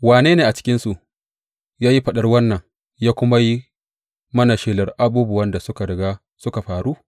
Wane ne a cikinsu ya yi faɗar wannan ya kuma yi mana shelar abubuwan da suka riga suka faru?